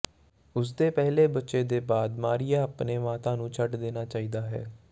ਉਸ ਦੇ ਪਹਿਲੇ ਬੱਚੇ ਦੇ ਬਾਅਦ ਮਾਰੀਆ ਆਪਣੇ ਮਾਤਾ ਨੂੰ ਛੱਡ ਦੇਣਾ ਚਾਹੀਦਾ ਹੈ